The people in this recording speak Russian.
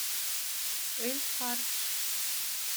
эль хардж